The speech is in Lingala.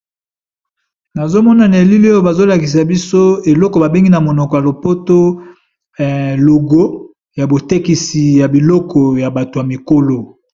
nazomonana elili oyo bazolakisa biso eloko babengi na monoko ya lopoto logo ya botekisi ya biloko ya bato ya mikolo